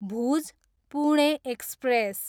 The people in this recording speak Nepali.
भुज, पुणे एक्सप्रेस